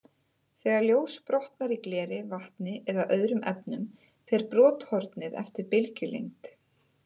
Þegar ljós brotnar í gleri, vatni eða öðrum efnum, fer brothornið eftir bylgjulengd.